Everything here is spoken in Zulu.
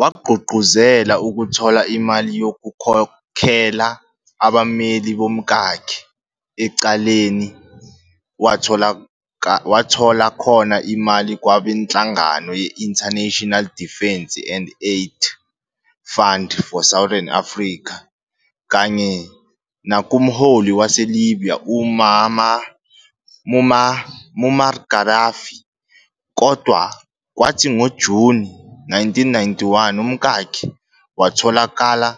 Wagqugquzela ukuthola imali yokukhokela abammeli bomkakhe ecaleni, wathola khona imali kwabenhlangano ye-International Defence and Aid Fund for Southern Africa kanye nakumholi wase-Libya uMuammar Gaddafi, kodwa kwathi ngoJuni 1991, umkakhe watholakala